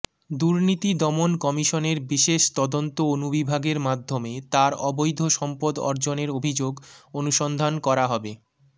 দুর্নীতি দমন কমিশনের বিশেষ তদন্ত অনুবিভাগের মাধ্যমে তার অবৈধ সম্পদ অর্জনের অভিযোগ অনুসন্ধান করা হবে